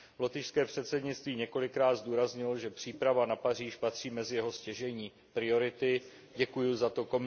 Lotyšské předsednictví několikrát zdůraznilo, že příprava na Paříž patří mezi jeho stěžejní priority, děkuji za to.